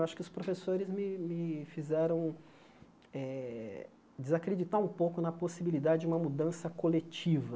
Acho que os professores me me fizeram eh desacreditar um pouco na possibilidade de uma mudança coletiva.